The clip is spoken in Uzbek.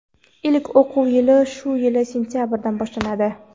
Ilk o‘quv yili shu yil sentyabrdan boshlanadi.